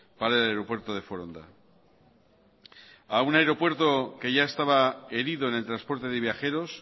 para el aeropuerto de foronda a un aeropuerto que ya estaba herido en el transporte de viajeros